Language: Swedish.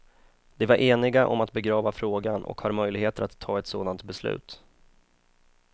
De var eniga om att begrava frågan och har möjligheter att ta ett sådant beslut.